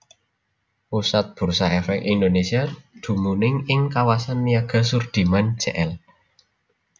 Pusat Bursa Èfèk Indonésia dumunung ing Kawasan Niaga Sudirman Jl